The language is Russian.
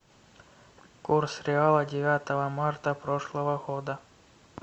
курс реала девятого марта прошлого года